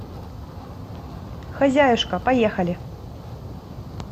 хозяюшка поехали